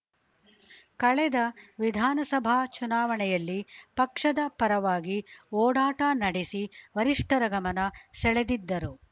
ಕಳೆದ ವಿಧಾನಸಭಾ ಚುನಾವಣೆಯಲ್ಲಿ ಪಕ್ಷದ ಪರವಾಗಿ ಓಡಾಟ ನಡೆಸಿ ವರಿಷ್ಠರ ಗಮನ ಸೆಳೆದಿದ್ದರು